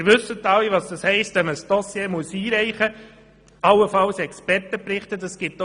Sie wissen, was es heisst, wenn man ein Dossier, allenfalls noch mit Expertenberichten, einreichen muss.